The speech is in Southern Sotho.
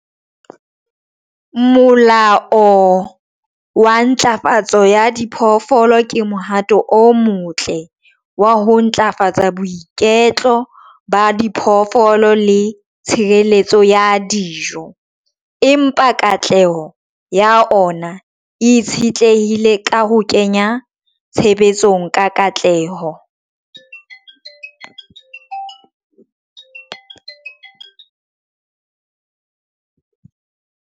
Molao wa ntlafatso ya diphoofolo ke mohato o motle wa ho ntlafatsa boiketlo ba diphoofolo le tshireletso ya dijo. Empa katleho ya ona e itshitlehile ka ho kenya tshebetsong ka katleho.